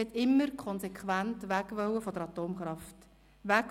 Sie wollte immer konsequent von der Atomkraft weg: